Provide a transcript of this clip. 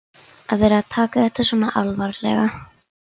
Að vera að taka þetta svona alvarlega.